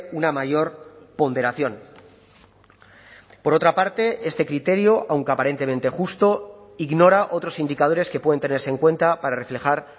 una mayor ponderación por otra parte este criterio aunque aparentemente justo ignora otros indicadores que pueden tenerse en cuenta para reflejar